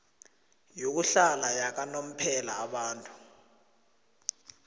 yokuhlala yakanomphela abantu